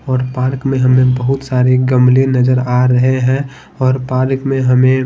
और पार्क में हमें बहुत सारे गमले नजर आ रहे हैं और पार्क में हमे--